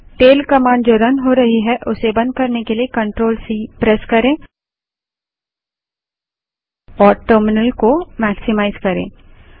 running tail command को बंद करने के लिए CTRLC प्रेस करें और टर्मिनल को मेक्सीमाइज़ करें